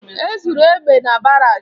E zuru egbe na barak